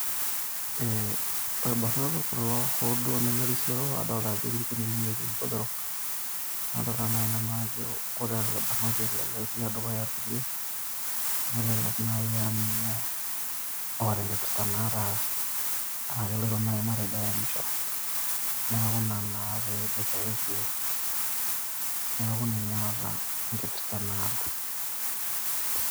Eh irbanot kulo ho duo nemerisioro, adolta ajo etii ilkunyinyik netii ilbotorok. Nadolta nai nanu ajo ore ele barnoti otii tedukuya kulie, nelelek nai aninye ota enkipirta naata, ah keloito nai matejo aemisho. Neeku ina na peboitare ilkulie. Neeku ninye ota enkipirta naata.